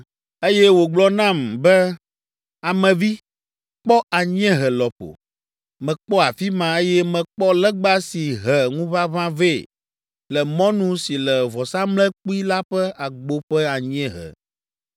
Eye wògblɔ nam be, “Ame vi, kpɔ anyiehe lɔƒo.” Mekpɔ afi ma, eye mekpɔ legba si he ŋuʋaʋã vɛ le mɔnu si le vɔsamlekpui la ƒe agbo ƒe anyiehe.